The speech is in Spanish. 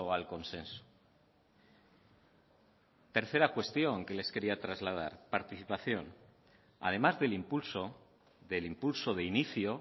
al consenso tercera cuestión que les quería trasladar participación además del impulso del impulso de inicio